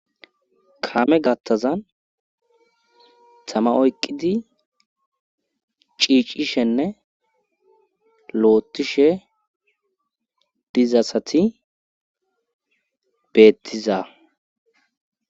kame gattazan tama oyqqidi ciicishenne lootishe diza asati beettiza